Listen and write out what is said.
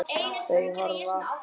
Þau horfðu.